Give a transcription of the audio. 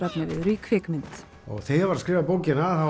efniviður í kvikmynd þegar ég var að skrifa bókina